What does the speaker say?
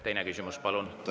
Aitäh, juhataja!